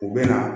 U bɛ na